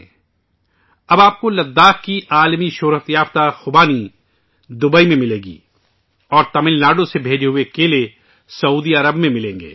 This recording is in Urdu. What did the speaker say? اب، آپ کو دوبئی میں لداخ کی دنیا کی مشہور خوبانی بھی ملے گی اور سعودی عرب میں، آپ کو تمل ناڈو سے بھیجے گئے کیلے ملیں گے